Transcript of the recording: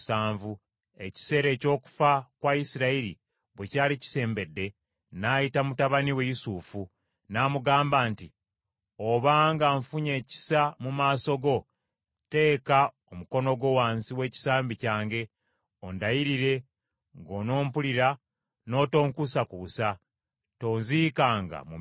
Ekiseera eky’okufa kwa Isirayiri bwe kyali kisembedde, n’ayita mutabani we Yusufu n’amugamba nti, “Obanga nfunye ekisa mu maaso go teeka omukono gwo wansi w’ekisambi kyange, ondayirire ng’onompulira n’otonkuusakuusa: tonziikanga mu Misiri,